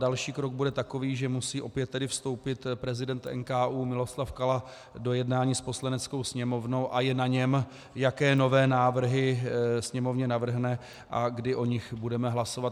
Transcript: Další krok bude takový, že musí opět tedy vstoupit prezident NKÚ Miloslav Kala do jednání s Poslaneckou sněmovnou, a je na něm, jaké nové návrhy Sněmovně navrhne a kdy o nich budeme hlasovat.